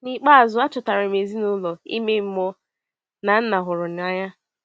N’ikpeazụ, achọtara m ezinụlọ ime mmụọ na Nna hụrụ n’anya!